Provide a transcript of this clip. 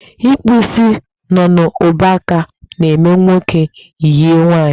Ịkpụ isi nọ n'ubuaka na-eme nwoke e yie nwaanyị